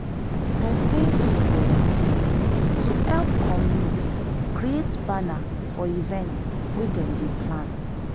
person fit volunteer to help community create banner for event wey dem dey plan